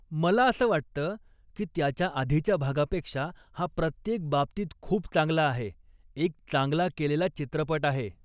मला असं वाटतं की त्याच्या आधीच्या भागापेक्षा हा प्रत्येक बाबतीत खूप चांगला आहे, एक चांगला केलेला चित्रपट आहे.